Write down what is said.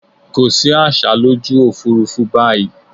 Kò sí àsá lójú òfúrúfú báyìí.